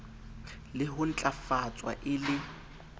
le ho ntlafatswa e le